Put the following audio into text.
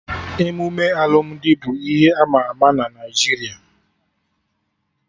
Emume alụmdi bụ ihe ama ama na Naijiria